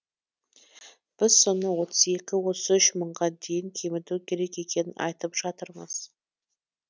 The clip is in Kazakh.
біз соны отыз екі отыз үш мыңға дейін кеміту керек екенін айтып жатырмыз